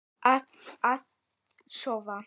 Að sofa.